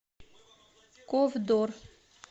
ковдор